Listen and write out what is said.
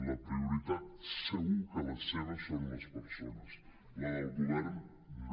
la prioritat segur que la seva són les persones la del govern no